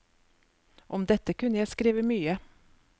Om dette kunne jeg skrive mye.